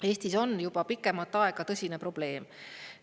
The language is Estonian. Eestis on juba pikemat aega tõsine probleem.